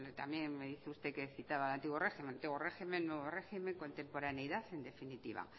también citaba al antiguo régimen antiguo régimen nuevo régimen contemporaneidad en definitiva